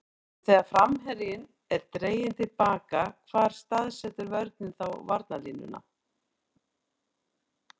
En þegar framherjinn er dreginn til baka hvar staðsetur vörnin þá varnarlínuna?